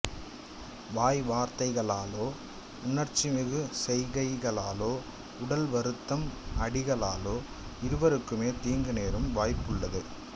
வாய் வார்த்தைகளாலோ உணர்ச்சிமிகு செய்கைகளாலோ உடல் வருத்தும் அடிகளாலோ இருவருக்குமே தீங்கு நேரும் தீவாய்ப்புள்ளது